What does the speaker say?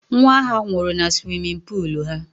Nwa ha nwụrụ na suwimin puulu ha.